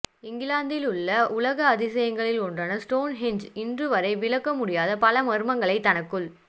இங்கிலாந்தில் உள்ள உலக அதிசயங்களில் ஒன்றான ஸ்டோன் ஹெஞ்ச் இன்று வரை விளக்க முடியாத பல மர்மங்களை தனக்குள்